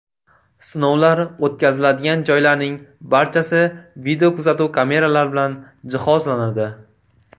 Sinovlar o‘tkaziladigan joylarning barchasi video kuzatuv kameralar bilan jihozlanadi.